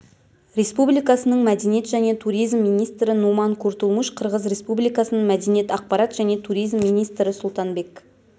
республикасының мәдениет және туризм министрі нуман куртулмуш қырғыз республикасының мәдениет ақпарат және туризм министрі сұлтанбек